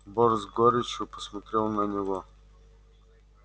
борт с горечью посмотрел на него